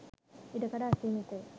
ඉඩකඩ අසීමිතය.